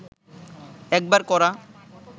একবার করা